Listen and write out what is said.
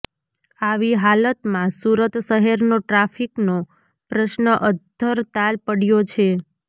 આવી હાલતમાં સુરત શહેરનો ટ્રાફિકનો પ્રશ્ન અધ્ધરતાલ પડ્યો છે